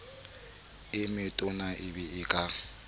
e metona e be ka